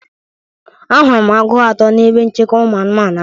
Ahụrụ m agụ atọ n'ebe nchekwa ụmụ anụmanụ ahụ.